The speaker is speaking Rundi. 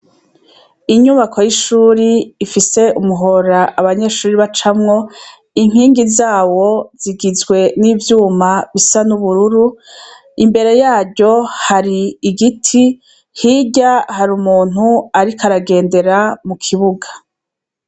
Inyubako y'ishuri ifise umuhora abanyeshuri bacamwo, inkingi zawo zigizwe n'ivyuma bisa n'ubururu, imbere yaryo hari igiti, hirya hari umuntu ariko aragendera mu kibuga.